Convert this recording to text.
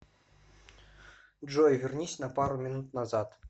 джой вернись на пару минут назад